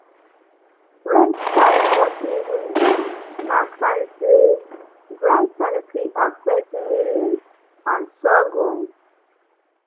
red sky for evening na sign say dry time fit affect millet and sorghum